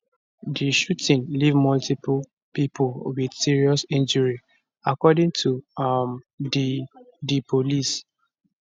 di shooting leave multiple pipo wit serious injury according to um di di police